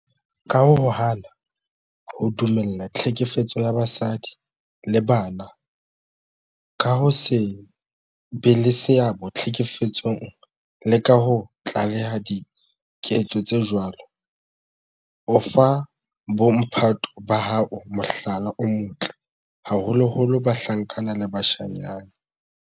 Ka ho hana ho dumella tlhekefetso ya basadi le bana, ka ho se be le seabo tlhekefetsong le ka ho tlaleha diketso tse jwalo, o fa bo mphato ba hao mohlala o motle, haholoholo bahlankana le bashanyana.